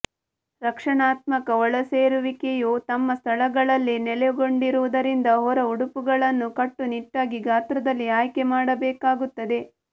ರಕ್ಷಣಾತ್ಮಕ ಒಳಸೇರಿಸುವಿಕೆಯು ತಮ್ಮ ಸ್ಥಳಗಳಲ್ಲಿ ನೆಲೆಗೊಂಡಿರುವುದರಿಂದ ಹೊರ ಉಡುಪುಗಳನ್ನು ಕಟ್ಟುನಿಟ್ಟಾಗಿ ಗಾತ್ರದಲ್ಲಿ ಆಯ್ಕೆ ಮಾಡಬೇಕಾಗುತ್ತದೆ